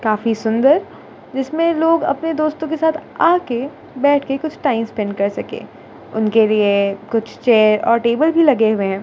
काफी सुंदर जिसमें लोग अपने दोस्तों के साथ आके बैठके कुछ टाइम स्पेंड कर सके उनके लिए कुछ चेयर और टेबल भी लगे हुए हैं।